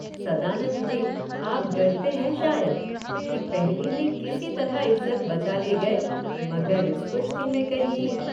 सदानंद जी, आप डरते हैं शायद कि पहली में किसी तरह इज़्ज़त बचा ले गएमगर इस कुश्ती में कहीं